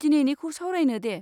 दिनैनिखौ सावरायनो दे।